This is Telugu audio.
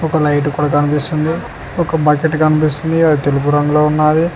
ఓ లైట్ కూడ కనిపిస్తుంది ఒక బకెట్ కనిపిస్తుంది అది తెలుపు రంగులో ఉన్నాది.